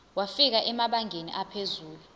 wafika emabangeni aphezulu